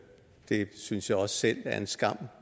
synes jeg også selv er en skam